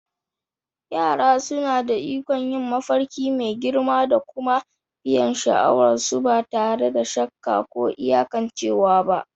Yara suna da ikon yin mafarki mai girma da kuma biyan sha'awar su ba tare da shakka ko iyakancewa ba.